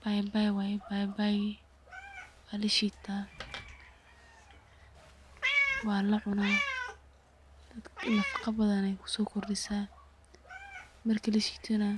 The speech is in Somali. Papai waye, walshitaa, wana lacuna, dadka nafago badan ayay kusokordisa, matki lashito nah